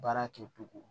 Baara kɛ cogo